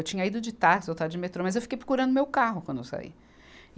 Eu tinha ido de táxi, voltado de metrô, mas eu fiquei procurando meu carro quando eu saí.